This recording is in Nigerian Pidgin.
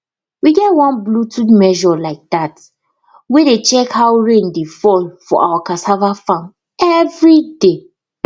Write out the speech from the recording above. we get one bluetooth measure like that wey dey check how rain dey fall for our cassava farm every day